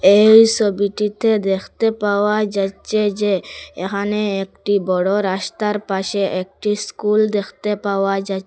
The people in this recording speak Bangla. এই ছবিটিতে দেখতে পাওয়া যাচ্ছে যে এখানে একটি বড় রাস্তার পাশে একটি স্কুল দেখতে পাওয়া যা--